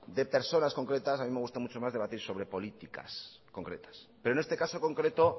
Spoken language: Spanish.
de personas concretas a mí me gusta mucho más debatir sobre políticas concretas pero en este caso concreto